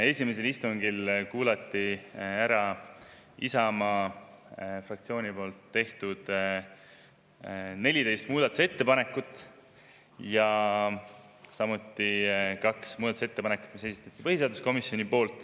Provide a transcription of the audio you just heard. Esimesel istungil kuulati ära Isamaa fraktsiooni tehtud 14 muudatusettepanekut ning kaks muudatusettepanekut, mille esitas põhiseaduskomisjon.